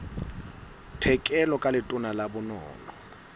tlhekelo ka letona la bonono